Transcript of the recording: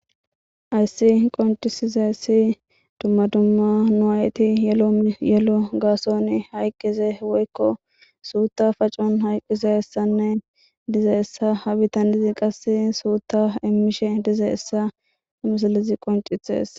Hayssi qoncisizaysi nu aayetti dumma dumma yelo gassuwan hayqiza woykko suutta pacen hayqizayssanne ha bittanezi qase suutta iimishe dizayssa misilezii qonccisishes